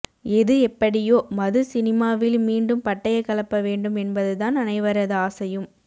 எது எப்படியோ மது சினிமாவில் மீண்டும் பட்டய கெளப்ப வேண்டும் என்பது தான் அனைவரது ஆசையும்